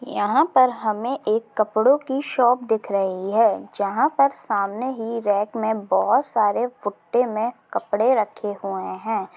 यहा पर हमें एक कपड़ो की शॉप दिख रही है जहा पर सामने ही रेक में बहुत सारे फुट्टे में कपड़े रखे हुए है